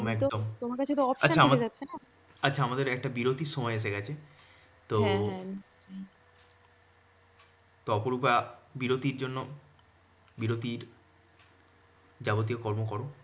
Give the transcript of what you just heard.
তমার কাছে তো option আচ্ছা আমাদের একটা বিরতির সময় এসে গেছে। তো তো অপরুপা বিরতির জন্য বিরতি জাবতিয় কর্ম কর।